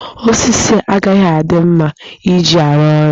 Osisi a agaghị adị mma iji arụ ọrụ.